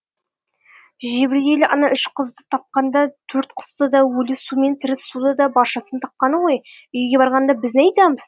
жебірейіл ана үш қызды тапқанда төрт құсты да өлі су мен тірі суды да баршасын тапқаны ғой үйге барғанда біз не айтамыз